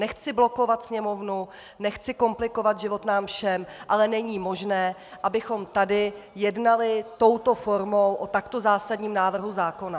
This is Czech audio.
Nechci blokovat Sněmovnu, nechci komplikovat život nám všem, ale není možné, abychom tady jednali touto formou o takto zásadním návrhu zákona.